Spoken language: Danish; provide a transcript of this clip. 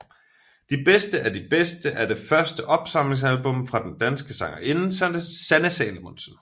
De bedste af de bedste er det første opsamlingsalbum fra den danske sangerinde Sanne Salomonsen